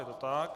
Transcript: Je to tak?